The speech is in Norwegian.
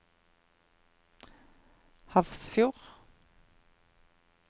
Hafrsfjord